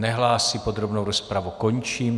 Nehlásí, podrobnou rozpravu končím.